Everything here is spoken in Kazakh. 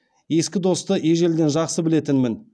ескі досты ежелден жақсы білетінмін